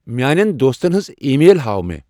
میانین دوستس ہٕنزۍ ای میل ہاو مے ۔